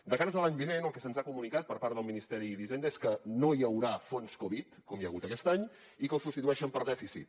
de cara a l’any vinent el que se’ns ha comunicat per part del ministeri d’hisenda és que no hi haurà fons covid com hi ha hagut aquest any i que el substitueixen per dèficit